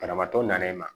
Banabaatɔ nanen ma